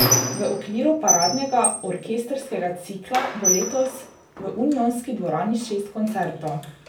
V okviru paradnega orkestrskega cikla bo letos v Unionski dvorani šest koncertov.